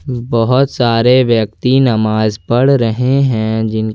बहोत सारे व्यक्ति भी नमाज पढ़ रहे हैं जिनके--